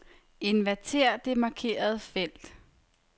Inverter det markerede felt.